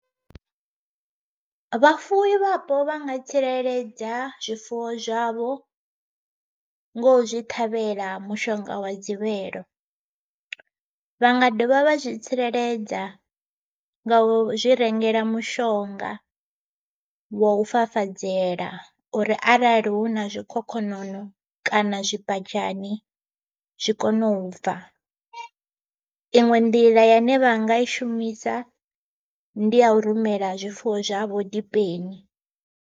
Vhafuwi vhapo vha nga tsireledza zwifuwo zwavho, ngo zwi ṱhavhela mushonga wa dzivhelo. Vha nga dovha vha zwi tsireledza nga u zwi rengela mishonga wo fafadzela uri arali hu na zwikhokhonono kana zwibadzhane zwi kone u fa, iṅwe nḓila ya ine vha nga i shumisa ndi ya u rumela zwifuwo zwavho dipeni.